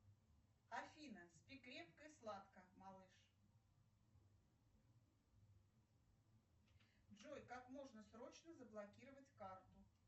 афина спи крепко и сладко малыш джой как можно срочно заблокировать карту